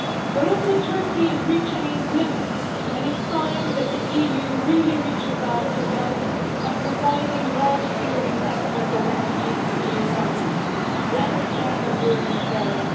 But Turkey is reaching its limits, and it is time that the EU really reached out to help by providing large scale resettlement of refugees to EU countries. That is genuine burden sharing